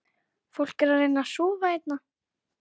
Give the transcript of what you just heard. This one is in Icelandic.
Fólk er að reyna að sofa hérna